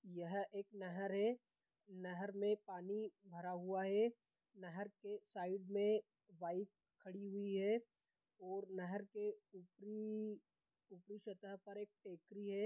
यह एक नहर हे नहर में पानी भरा हुआ हे नहर के साइड में बाइक खड़ी हुई है और नहर की ऊपरी ऊपरी सतह पर एक टेकरी है।